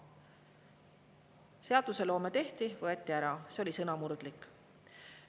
Seadus tehti, võeti ära – see oli sõnamurdlik.